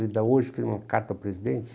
Ainda hoje fiz uma carta ao presidente.